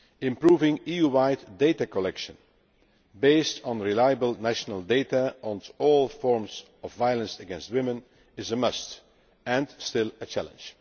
Improving EU wide data collection, based on reliable national data on all forms of violence against women, is a must and is still a challenge.